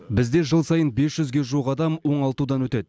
бізде жыл сайын бес жүзге жуық адам оңалтудан өтеді